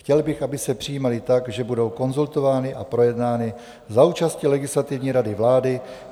Chtěl bych, aby se přijímaly tak, že budou konzultovány a projednány za účasti Legislativní rady vlády.